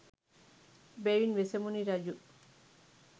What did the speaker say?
එබැවින් වෙසමුණි රජු